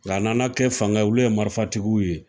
Nka nana kɛ fangaw ye, olu ye marifatigiw ye